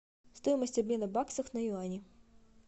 стоимость обмена баксов на юани